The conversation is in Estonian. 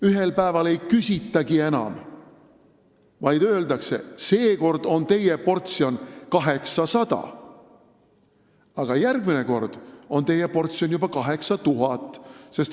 Ühel päeval ei küsitagi enam nõusolekut, vaid öeldakse, et seekord on teie portsjon 800, aga järgmine kord juba 8000.